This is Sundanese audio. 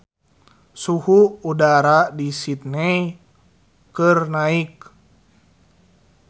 Suhu udara di Sydney keur naek